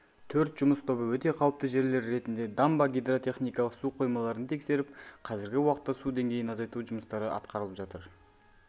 төрт жұмыс тобы өте қауіпті жерлер ретінде дамба гидротехникалық су қоймаларын тексеріп қазіргі уақытта су деңгейін азайту жұмыстары атқарылып жатыр